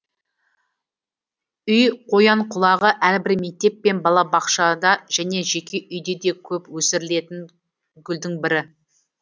үй қоянқұлағы әрбір мектеп пен балабақшада және жеке үйде де көп өсірілетін гүлдің бірі